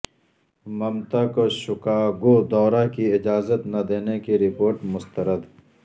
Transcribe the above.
ممتا کو شکاگو دورہ کی اجازت نہ دینے کی رپورٹ مسترد